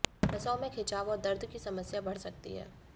नसों में खिंचाव और दर्द की समस्या बढ़ सकती है